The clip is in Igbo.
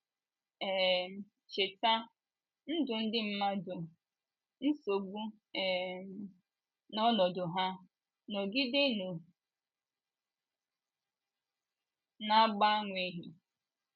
um Cheta, ndụ ndị mmadụ, nsogbu um na ọnọdụ ha, nọgidenu, na - agbanweghi.